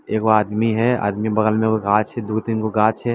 एगो आदमी है आदमी के बगल में एगो गाछ है दू-तीन गो गाछ है।